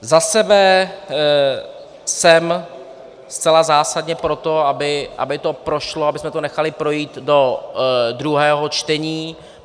Za sebe jsem zcela zásadně pro to, aby to prošlo, abychom to nechali projít do druhého čtení.